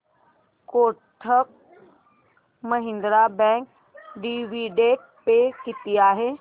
Kotak Mahindra Bank dividend pay किती आहे